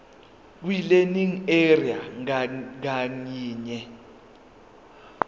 kwilearning area ngayinye